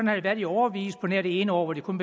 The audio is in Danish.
har det været i årevis på nær det ene år hvor de kun